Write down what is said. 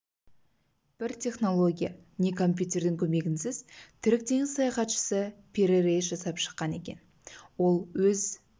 бір технология не компьютердің көмегінсіз түрік теңіз саяхатшысы пири рейс жасап шыққан екен ол өз